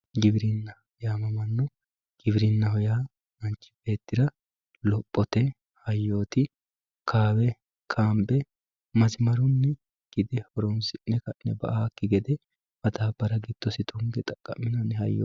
giwirinna yaamamanno giwirinnaho yaa manchi beettira lophote hayyooti kaawe kaanbe masimarunni horoonsi'ne ka'ne ba"awookki gede madaabbara giddosi tunge xaqqa'minanni hayyooti.